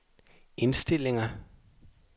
indstillinger